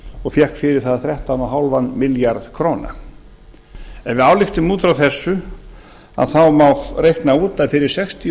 og fékk fyrir það þrettán og hálfan milljarð króna ef við ályktum út frá þessu má reikna út að fyrir sextíu